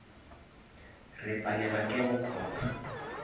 re palelwa ke go copa